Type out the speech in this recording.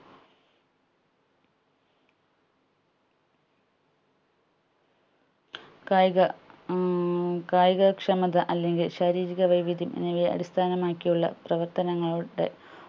കായിക ഏർ കായിക ക്ഷമത അല്ലെങ്കിൽ ശാരീരിക വൈവിധ്യം എന്നിവയെ അടിസ്ഥാനമാക്കി ഉള്ള പ്രവർത്തനങ്ങളുടെ